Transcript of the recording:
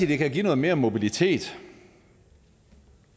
det kan give noget mere mobilitet